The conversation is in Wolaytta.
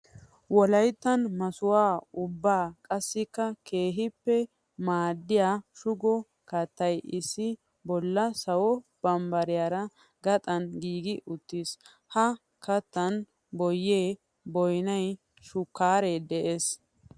Wolayttan masuha ubba qassikka keehippe maadiya sbugo kattay issi bolla sawo bambbariya gaxan giigi uttiis. Ha kattan boye, boynnay, shukare de'ees.